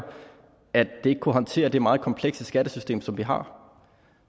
at det ikke kunne håndtere det meget komplekse skattesystem som vi har